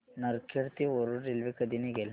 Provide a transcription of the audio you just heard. नरखेड ते वरुड रेल्वे कधी निघेल